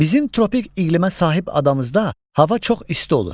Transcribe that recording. Bizim tropik iqlimə sahib adamızda hava çox isti olur.